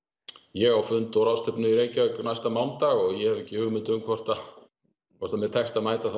ég á fund og ráðstefnu í Reykjavík næsta mánudag og ég hef ekki hugmynd um hvort hvort mér tekst að mæta